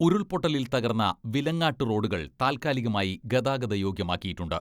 ഉരുൾപൊട്ടലിൽ തകർന്ന വിലങാട്ട് റോഡുകൾ താൽക്കാലികമായി ഗതാഗത യോഗ്യമാക്കിയിട്ടുണ്ട്.